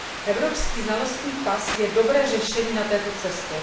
Evropský znalostní pas je dobrým řešením na této cestě.